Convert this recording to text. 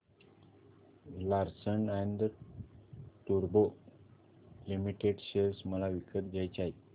Larsen and टुर्बो limited share मला विकत घ्यायचे आहेत